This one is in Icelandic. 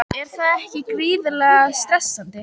Er það ekki gríðarlega stressandi?